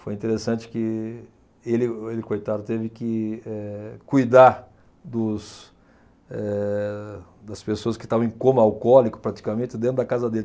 Foi interessante que ele, ele o coitado, teve que eh cuidar dos eh das pessoas que estavam em coma alcoólico, praticamente, dentro da casa dele.